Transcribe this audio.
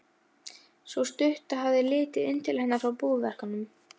Sú stutta hafði litið inn til hennar frá búverkunum.